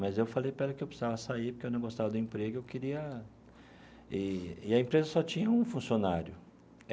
Mas eu falei para ela que eu precisava sair porque eu não gostava do emprego e eu queria e e a empresa só tinha um funcionário.